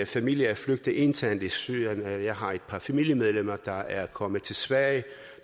familie er flygtet internt i syrien jeg har et par familiemedlemmer der er kommet til sverige